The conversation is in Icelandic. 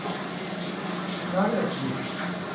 Norðurhlíð